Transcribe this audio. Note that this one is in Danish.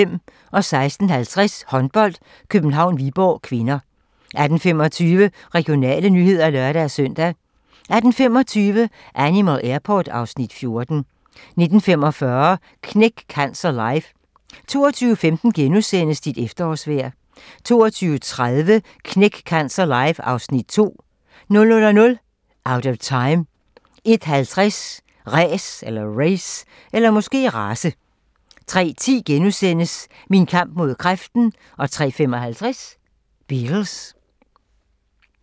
16:50: Håndbold: København-Viborg (k) 18:15: Regionale nyheder (lør-søn) 18:25: Animal Airport (Afs. 14) 19:45: Knæk Cancer Live 22:15: Dit efterårsvejr * 22:30: Knæk Cancer live (Afs. 2) 00:00: Out of Time 01:50: Race 03:10: Min kamp mod kræften * 03:55: Beatles